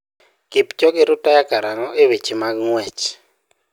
Kipchoge rutaya karang'o e weche mag ng'uech?